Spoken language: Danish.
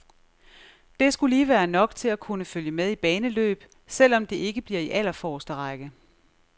Det skulle lige være nok til at kunne følge med i baneløb, selv om det ikke bliver i allerforreste række.